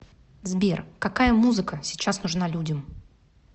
сбер какая музыка сейчас нужна людям